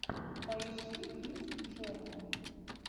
поищи биси джорнал